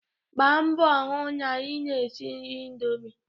Gbaa mbọ hụ na ị na-esi nri indomi!